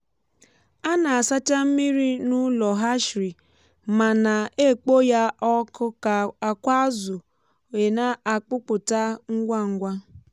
a na-asacha mmiri n’ụlọ hatchery ma na-ekpoo ya ọkụ ka akwa azụ weena-akpụpụta ngwa ngwa